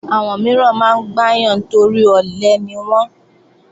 Àwọn mìíràn máa ń gbáyàn torí ọ̀lẹ niwọ́n